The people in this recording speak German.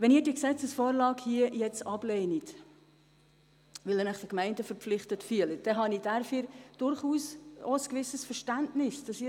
Wenn Sie diese Gesetzesvorlage ablehnen, weil Sie sich den Gemeinden gegenüber verpflichtet fühlen, habe ich durchaus auch ein gewisses Verständnis dafür.